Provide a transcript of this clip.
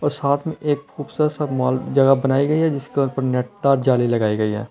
और साथ में एक खूबसूरत सा माल जगह बनाई गई है जिसके ऊपर नेट और जाली लगाई गई है।